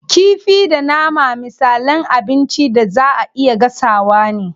Kifi da nama misalan abincin da zaa a iya gasawa ne.